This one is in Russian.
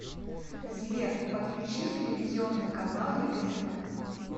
сбер подключи телевизионный канал егэ тв